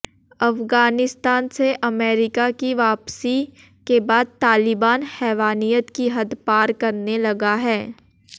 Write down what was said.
अफगानिस्तान से अमेरिका की वापसी के बाद तालिबान हैवानियत की हद पार करने लगा है